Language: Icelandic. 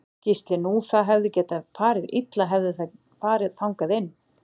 Gísli: Nú það hefði getað farið illa hefði það farið þangað inn?